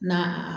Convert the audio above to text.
Na